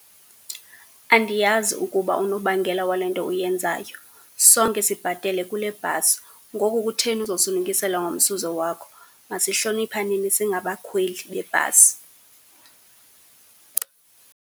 Andiyazi ukuba unobangela wale nto uyenzayo. Sonke sibhatele kule bhasi, ngoku kutheni uzosinukisela ngomsuzo wakho? Masihloniphaneni singabakhweli bebhasi.